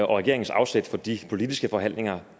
regeringens afsæt for de politiske forhandlinger